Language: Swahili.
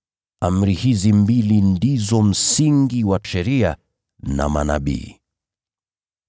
Amri hizi mbili ndizo msingi wa Sheria na Manabii.”